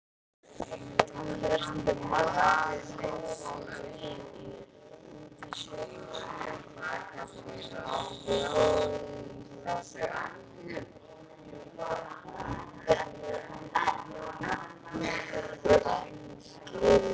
Hvert er markmið liðsins út sumarið?